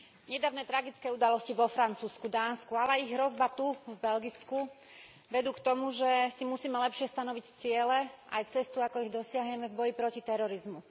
Nedávne tragické udalosti vo Francúzsku, Dánsku, ale i hrozba tu, v Belgicku, vedú k tomu, že si musíme lepšie stanoviť ciele aj cestu ako ich dosiahneme v boji proti terorizmu.